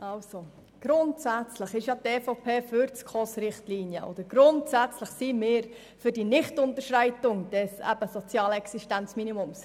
Grundsätzlich ist die EVP für die SKOS-Richtlinien, und grundsätzlich sind wir für die Nichtunterschreitung des sozialen Existenzminimums.